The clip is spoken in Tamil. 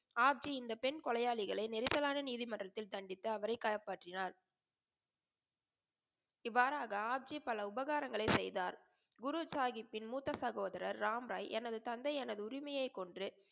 ஹாப்ஜி இந்த பெண் கொலையாளிகளை நெரிசலனா நீதிமன்றத்தில் தண்டித்து அவரை காப்பாற்றினார். இவ்வாறாக ஹாப்ஜி பல உபகாரங்களை செய்தார். குரு சாஹிபின் முத்த சகோதரர் ராம் ராய் எனது தந்தை எனது உரிமையை கொன்று